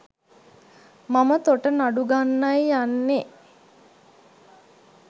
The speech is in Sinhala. මම තොට නඩු ගන්නයි යන්නේ.